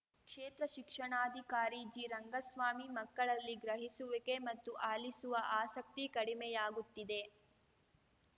ಕ್ಷೇತ್ರ ಶಿಕ್ಷಣಾಧಿಕಾರಿ ಜಿ ರಂಗಸ್ವಾಮಿ ಮಕ್ಕಳಲ್ಲಿ ಗ್ರಹಿಸುವಿಕೆ ಮತ್ತು ಆಲಿಸುವ ಆಸಕ್ತಿ ಕಡಿಮೆಯಾಗುತ್ತಿದೆ